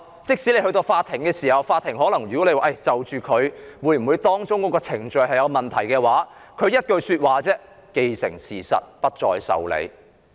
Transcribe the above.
即使有人訴諸法庭，要求法庭裁定所涉程序有否任何問題，法官只會說道："現已既成事實，不會受理。